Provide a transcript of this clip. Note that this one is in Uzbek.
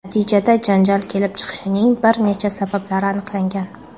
Natijada janjal kelib chiqishining bir nechta sabablari aniqlangan.